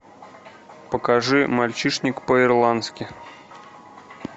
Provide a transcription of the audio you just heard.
покажи мальчишник по ирландски